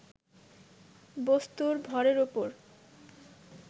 বস্তুর ভরের উপর